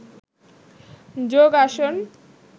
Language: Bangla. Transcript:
যোগ আসন